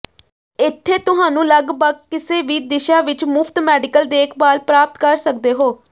ਇੱਥੇ ਤੁਹਾਨੂੰ ਲੱਗਭਗ ਕਿਸੇ ਵੀ ਦਿਸ਼ਾ ਵਿੱਚ ਮੁਫ਼ਤ ਮੈਡੀਕਲ ਦੇਖਭਾਲ ਪ੍ਰਾਪਤ ਕਰ ਸਕਦੇ ਹੋ